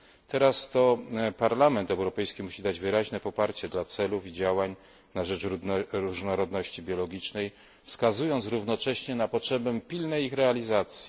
Teraz to Parlament Europejski musi dać wyraźne poparcie dla celów i działań na rzecz różnorodności biologicznej, wskazując równocześnie na potrzebę pilnej ich realizacji.